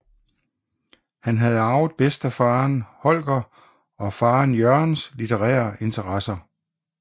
Han havde arvede bedstefaderen Holger og faderen Jørgens litterære interesser